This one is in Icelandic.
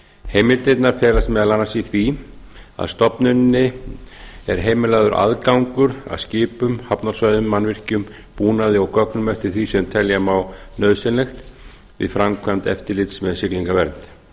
heimildirnar felast meðal annars í því að stofnuninni er heimilaður aðgangur að skipum hafnarsvæðum mannvirkjum búnaði og gögnum eftir því sem telja má nauðsynlegt við framkvæmd eftirlits með siglingavernd gerð